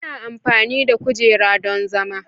ana amfani da kujera don zama.